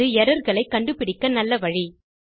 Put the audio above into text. அது எர்ரர் களை கண்டுபிடிக்க நல்ல வழி